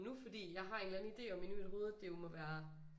Nu fordi jeg har en eller anden idé om inde i mit hovede om at det jo må være